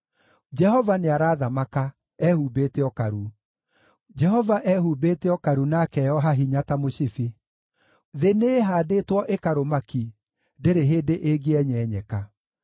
Jehova nĩarathamaka, ehumbĩte ũkaru; Jehova ehumbĩte ũkaru na akeoha hinya ta mũcibi. Thĩ nĩĩhaandĩtwo ĩkarũma ki, ndĩrĩ hĩndĩ ĩngĩenyenyeka.